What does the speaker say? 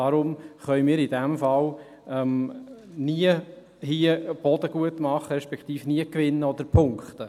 Daher können wir in diesem Fall nie Boden gut machen, respektive nie gewinnen oder punkten.